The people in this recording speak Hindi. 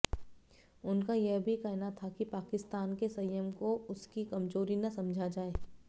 उनका यह भी कहना था कि पाकिस्तान के संयम को उसकी कमजोरी न समझा जाए